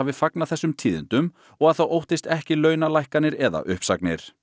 fagnað þessum tíðindum og að það óttist ekki launalækkanir eða uppsagnir